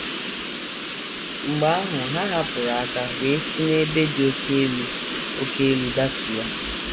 Mgbe ahụ, ha hapụrụ aka wee si n’ebe dị oké elu oké elu datuwa.